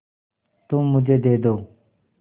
तुम मुझे दे दो